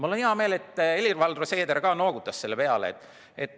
Mul on hea meel, et Helir-Valdor Seeder ka noogutas selle peale.